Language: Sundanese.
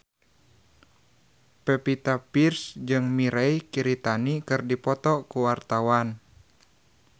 Pevita Pearce jeung Mirei Kiritani keur dipoto ku wartawan